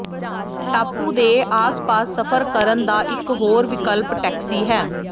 ਟਾਪੂ ਦੇ ਆਸ ਪਾਸ ਸਫ਼ਰ ਕਰਨ ਦਾ ਇਕ ਹੋਰ ਵਿਕਲਪ ਟੈਕਸੀ ਹੈ